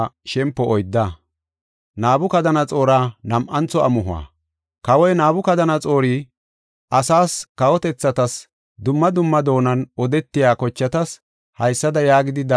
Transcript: Kawoy Nabukadanaxoori, Asaas, kawotethatas, dumma dumma doonan odetiya kochatas haysada yaagidi dabdaabe xaafis: Saroy hintew gido,